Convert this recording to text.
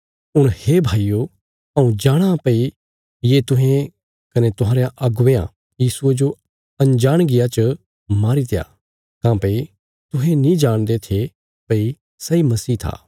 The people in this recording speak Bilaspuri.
हुण हे भाईयो हऊँ जाणाँ भई ये तुहें कने तुहांरयां अगुवेयां यीशुये जो अंजाणगिया च मारीत्या काँह्भई तुहें नीं जाणदे थे भई सैई मसीह था